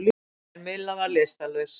En Milla var lystarlaus.